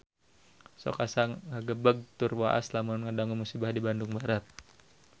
Sok asa ngagebeg tur waas lamun ngadangu musibah di Bandung Barat